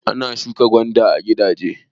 Ana shuka gwanda a gigaje.